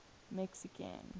mexican